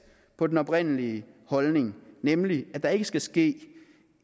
på den oprindelige holdning nemlig at der ikke skal ske